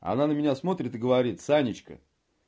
она на меня смотрит и говорит санечка